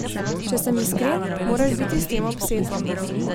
Če sem iskren, moraš biti s tem obseden.